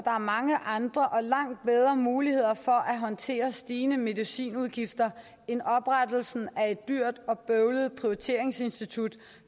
er mange andre og langt bedre muligheder for at håndtere stigende medicinudgifter end oprettelsen af et dyrt og bøvlet prioriteringsinstitut